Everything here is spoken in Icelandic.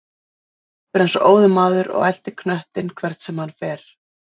Svenni hleypur eins og óður maður og eltir knöttinn hvert sem hann fer.